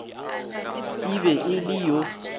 e be e le yo